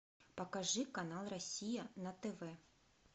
покажи канал россия на тв